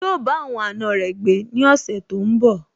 Yíò bá àwọn àna rẹ̀ gbé ní ọ̀sẹ̀ tó n bọ̀